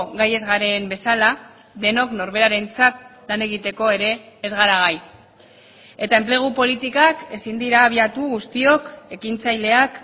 gai ez garen bezala denok norberarentzat lan egiteko ere ez gara gai eta enplegu politikak ezin dira abiatu guztiok ekintzaileak